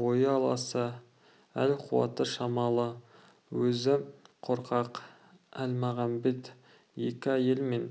бойы аласа әл-қуаты шамалы өзі қорқақ әлмағамбет екі әйел мен